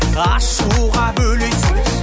ашуға бөлейсің